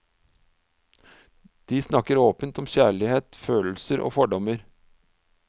De snakker åpent om kjærlighet, følelser og fordommer.